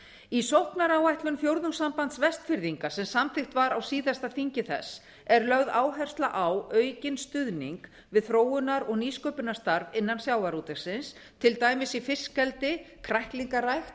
í sóknaráætlun fjórðungssambands vestfirðinga sem samþykkt var á síðasta þingi þess er lögð áhersla á aukinn stuðning við þróunar og nýsköpunarstarf innan sjávarútvegsins til dæmis í fiskeldi kræklingarækt